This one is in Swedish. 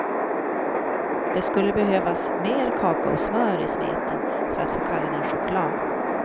Det skulle behövas mer kakaosmör i smeten för att få kalla den choklad.